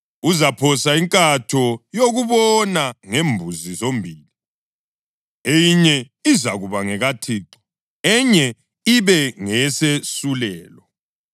Uzaphosa inkatho yokubona ngembuzi zombili, eyinye izakuba ngekaThixo, enye ibe ngeyesesulelo.